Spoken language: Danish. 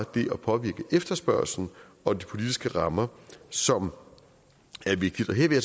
det at påvirke efterspørgslen og de politiske rammer som er vigtigt her